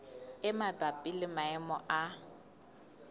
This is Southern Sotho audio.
e mabapi le maemo a